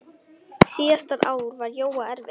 Síðasta ár var Jóa erfitt.